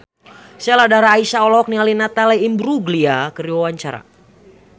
Sheila Dara Aisha olohok ningali Natalie Imbruglia keur diwawancara